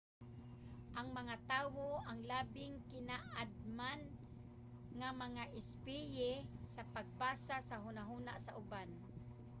ang mga tawo ang labing kinaadman nga mga espisye sa pagbasa sa hunahuna sa uban